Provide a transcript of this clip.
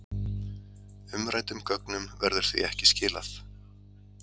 Umræddum gögnum verður því ekki skilað